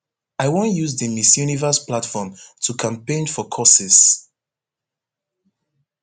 i wan use di miss universe platform to campaign for courses